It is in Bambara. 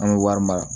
An bɛ wari mara